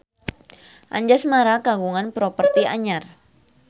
Anjasmara kagungan properti anyar